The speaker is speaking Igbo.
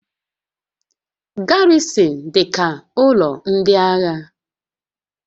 Garrịsịn dị ka ụlọ ndị agha